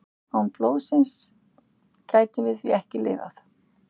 Án blóðsins gætum við því ekki lifað.